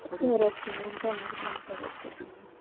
खरंच आहे एकदम एकदम खरं आहे